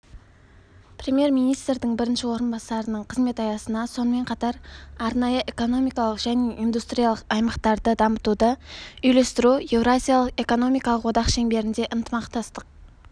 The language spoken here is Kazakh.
премьер-министрдің бірінші орынбасарының қызмет аясына сонымен қатар арнайы экономикалық және индустриялық аймақтарды дамытуды үйлестіру еуразиялық экономикалық одақ шеңберінде ынтымақтастық